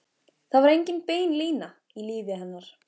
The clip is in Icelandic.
Það var engin bein lína í lífi hennar.